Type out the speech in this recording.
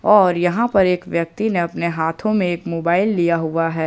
और यहां पर एक व्यक्ति ने अपने हाथों में एक मोबाइल लिया हुआ है।